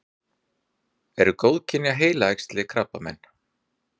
eru góðkynja heilaæxli krabbamein